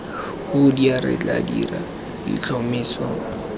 hoodia re tla dira letlhomeso